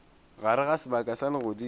gare ga sebaka sa legodimo